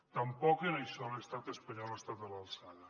tampoc en això l’estat espanyol ha estat a l’alçada